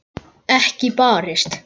Ekki barist.